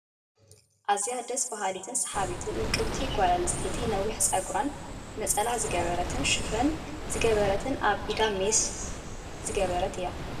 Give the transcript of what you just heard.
ኣዝያ ደሰ ብሃሊትን ስሓቢትን ውቅብቲ ጎል ኣንስትየቲ ነዊሕ ፀጉራን ነፀላ ዝገበረትን ሽፈን ዝገበረትን ኣብ ኢዳን ድማ ሜስ ዝገበረት እያ ።